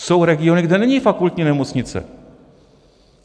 Jsou regiony, kde není fakultní nemocnice.